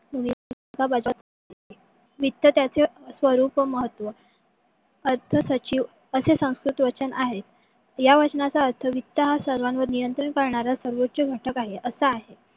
वित्त त्याचे स्वरूप व महत्व अर्थ सचिव असे संस्कृत वचन आहेत. या वाचनाचा अर्थ वित्त हा सर्वांवर नियंत्रण पळणारा सर्वोच घटक आहे. असा आहे.